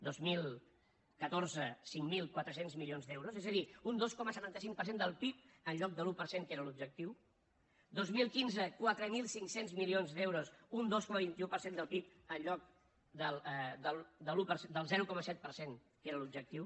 dos mil catorze cinc mil quatre cents milions d’euros és a dir un dos coma setanta cinc per cent del pib en lloc de l’un per cent que era l’objectiu dos mil quinze quatre mil cinc cents milions d’euros un dos coma vint un per cent del pib en lloc del zero coma set per cent que era l’objectiu